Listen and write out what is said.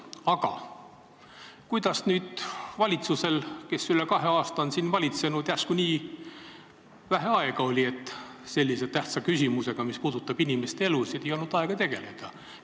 Aga kuidas nüüd valitsusel, kes üle kahe aasta on valitsenud, järsku nii vähe aega oli, et sellise tähtsa küsimusega, mis puudutab inimeste elusid, ei olnud varem aega tegeleda?